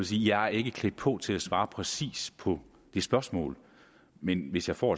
jeg ikke er klædt på til at svare præcist på det spørgsmål men hvis jeg får